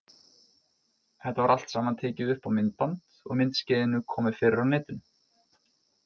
Þetta var allt saman tekið upp á myndband og myndskeiðinu komið fyrir á netinu.